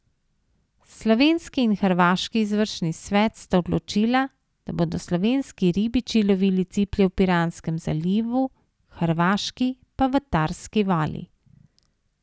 Slovenski in hrvaški izvršni svet sta odločila, da bodo slovenski ribiči lovili ciplje v Piranskem zalivu, hrvaški pa v Tarski vali.